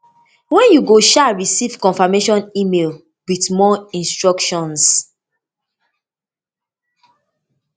den you go um receive confirmation email wit more instructions